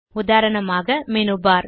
உதாரணமாக மேனு பார்